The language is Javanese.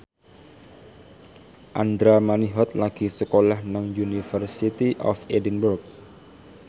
Andra Manihot lagi sekolah nang University of Edinburgh